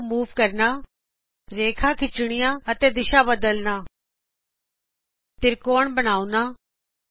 turtle ਨੂੰ move ਕਰਨਾ 001009 001000 ਰੇਖਾ ਖਿਚਣੀਆਂ ਅਤੇ ਦਿਸ਼ਾ ਬਦਲਣੀਆਂ ਤ੍ਰਿਕੋਣ ਬਣਾਓਣਾ